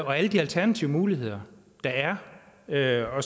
og alle de alternative muligheder der er og